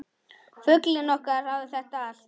Fuglinn okkar hafði þetta allt.